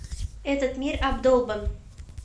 этот мир обдолбан